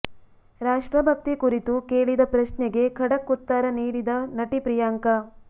ರಾಷ್ಟ್ರಭಕ್ತಿ ಕುರಿತು ಕೇಳಿದ ಪ್ರಶ್ನೆಗೆ ಖಡಕ್ ಉತ್ತರ ನೀಡಿದ ನಟಿ ಪ್ರಿಯಾಂಕ